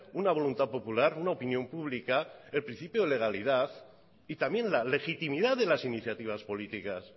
una voluntad popular una opinión pública el principio de legalidad y también la legitimidad de las iniciativas políticas